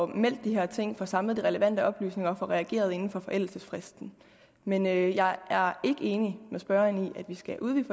meldt de her ting får samlet de relevante oplysninger og får reageret inden for forældelsesfristen men jeg er ikke enig med spørgeren i at vi skal udvide